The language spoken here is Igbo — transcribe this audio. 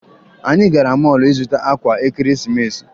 Anyị gara mọọlụ ịzụta akwa ekeresimesi